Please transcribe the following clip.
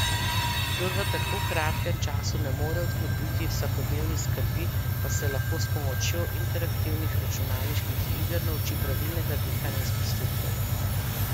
Kdor v tako kratkem času ne more odklopiti vsakodnevnih skrbi, pa se lahko s pomočjo interaktivnih računalniški iger nauči pravilnega dihanja in sprostitve.